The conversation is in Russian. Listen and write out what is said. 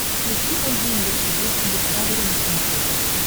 включи айди инвестигейшн дискавери на смотрешке